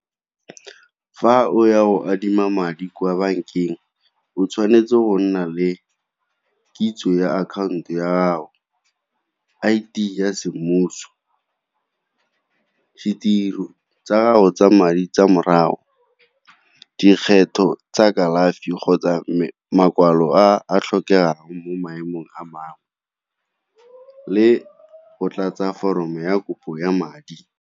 Fa o ya go adima madi kwa bankeng o tshwanetse go nna le kitso ya account-o ya gago, I_D ya semmuso, ditiro tsa go tsa madi tsa morago, dikgetho tsa kalafi kgotsa makwalo a a tlhokegang mo maemong a mangwe le go tlatsa foromo ya kopo ya madi.